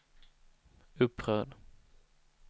upprörd